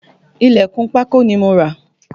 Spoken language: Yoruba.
Ilẹ̀kùn pákó ni mo rà